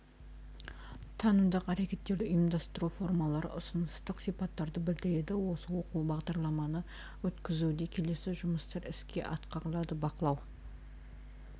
танымдық әрекеттерді ұйымдастыру формалары ұсыныстық сипаттарды білдіреді осы оқу бағдарламаны өткізуде келесі жұмыстар іске асырылады бақылау